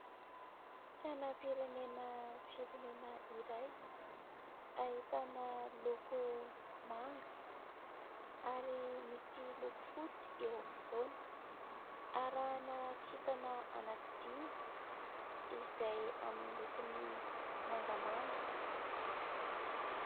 Sainam-pirenena firenena iray, ahitana loko manga ary misy loko fotsy eo ampovoany, arahana kintana anankidimy izay amin'ny lokony mangamanga.